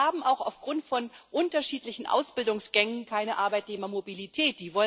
Und wir haben auch aufgrund von unterschiedlichen Ausbildungsgängen keine Arbeitnehmermobilität